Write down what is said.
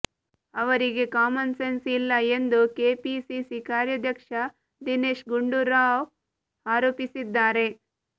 ಅವರಿಗೆ common sense ಇಲ್ಲ ಎಂದು ಕೆಪಿಸಿಸಿ ಕಾರ್ಯಾಧ್ಯಕ್ಷ ದಿನೇಶ್ ಗುಂಡೂರಾವ್ ಆರೋಪಿಸಿದ್ದಾರೆ